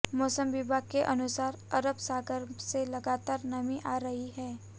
मौसम विभाग के अनुसार अरब सागर से लगातार नमी आ रही है